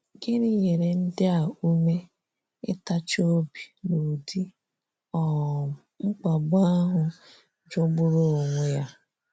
Gịnị nyere ndị a ume, ịtachi obi n'ụdị um mkpagbu ahụ jọgburu onwe ya?